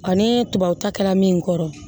Ani tubabu ta kɛla min kɔrɔ